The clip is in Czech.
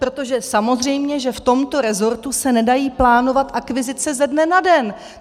Protože samozřejmě že v tomto rezortu se nedají plánovat akvizice ze dne na den.